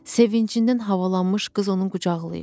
Sevincindən havalanmış qız onu qucaqlayır.